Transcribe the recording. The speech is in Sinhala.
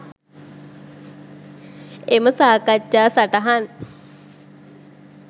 එම සාකච්ඡා සටහන්